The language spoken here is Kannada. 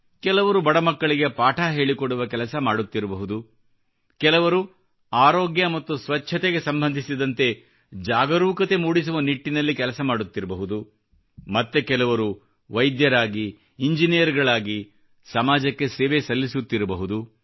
ಕೆಲವರು ಬಡಮಕ್ಕಳಿಗೆ ಪಾಠ ಹೇಳಿಕೊಡುವ ಕೆಲಸ ಮಾಡುತ್ತಿರಬಹುದು ಕೆಲವರು ಆರೋಗ್ಯ ಮತ್ತು ಸ್ವಚ್ಛತೆಗೆ ಸಂಬಂಧಿಸಿದಂತೆ ಜಾಗರೂಕತೆ ಮೂಡಿಸುವ ನಿಟ್ಟಿನಲ್ಲಿ ಕೆಲಸ ಮಾಡುತ್ತಿರಬಹುದು ಮತ್ತೆ ಕೆಲವರು ವೈದ್ಯರಾಗಿ ಇಂಜಿನಿಯರ್ ಗಳಾಗಿ ಸಮಾಜಕ್ಕೆ ಸೇವೆ ಸಲ್ಲಿಸುತ್ತಿರಬಹುದು